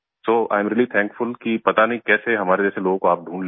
so I'm really thankful कि पता नहीं कैसे हमारे जैसे लोगों को आप ढूंढ लेते हैं